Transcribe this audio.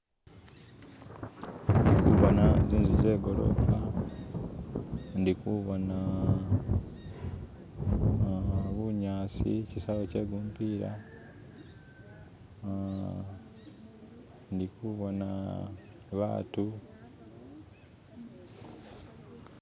Ndikuboona z'inzu zegolofa ndikuboona bunyasi kisaawe kyegumupila uh ndikuboona batu.